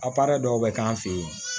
A parɛ dɔw bɛ k'an fɛ yen